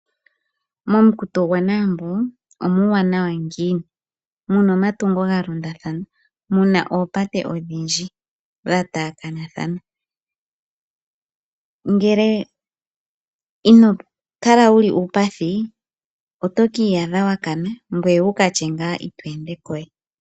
Momukuto gwaNaambo omuuwanawa ngiini? Muna omatungo, mu na oopate odhindji dha taakanathana . Ngele ino kala wu li uupathi oto ki iyadha wa kana ngoye wu ka tye nga ito ende ko we.